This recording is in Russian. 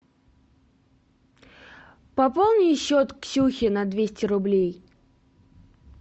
пополни счет ксюхе на двести рублей